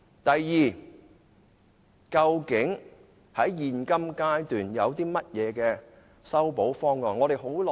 第二，究竟在現階段有何修補方案。